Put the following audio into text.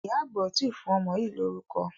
Ìyá àgbà ò tí ì fún ọmọ yìí lórúkọ.